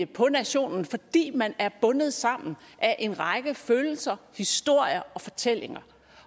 på nationen fordi man er bundet sammen af en række følelser historier og fortællinger